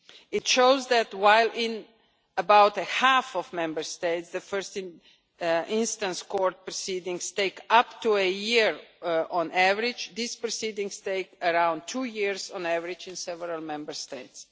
It shows that, while in about half of Member States the first instance court proceedings take up to a year on average, these proceedings take around two years on average in several Member States.